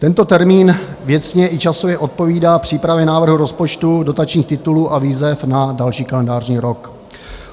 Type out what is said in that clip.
Tento termín věcně i časově odpovídá přípravě návrhu rozpočtu, dotačních titulů a výzev na další kalendářní rok.